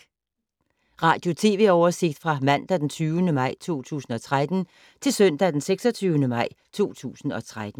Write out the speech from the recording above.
Radio/TV oversigt fra mandag d. 20. maj 2013 til søndag d. 26. maj 2013